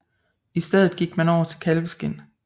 I stedet gik man over til kalveskind